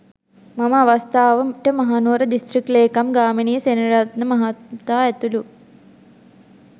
මෙම අවස්ථාවට මහනුවර දිස්ත්‍රික් ලේකම් ගාමිණී සෙනවිරත්න මහතා ඇතුළු